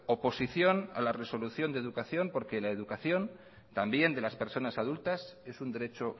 oposición a la resolución de educación porque la educación también de las personas adultas es un derecho